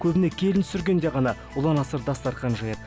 көбіне келін түсіргенде ғана ұлан асыр дастархан жаяды